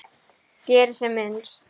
Geri sem minnst.